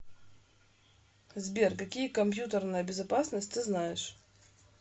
сбер какие компьютерная безопасность ты знаешь